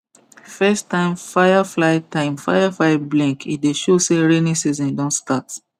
first time firefly time firefly blink e dey show say rainy season don start